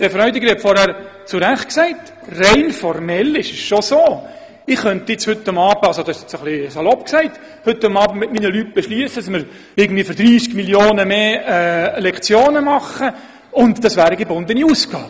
Herr Grossrat Freudiger hat es vorhin zu Recht erwähnt, und rein formell ist es tatsächlich so: Ich könnte – etwas salopp gesagt – heute Abend gemeinsam mit meinen Leuten beschliessen, dass wir etwa für 30 Mio. Franken mehr Lektionen schaffen, und das wären dann gebundene Ausgaben.